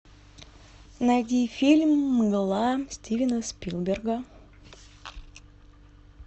найди фильм мгла стивена спилберга